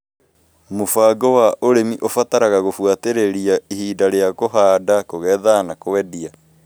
Mũbango wa ũrimi ũbataraga gũbuatĩrĩra ihinda rĩa kũhanda, kũgetha, na kũendia.